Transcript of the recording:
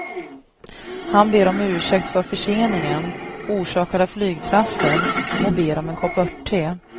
Han ber om ursäkt för förseningen, orsakad av flygtrassel, och ber om en kopp örtte.